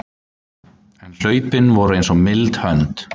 En hlaupin voru eins og mild hönd